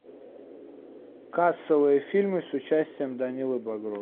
кассовые фильмы с участием данилы багрова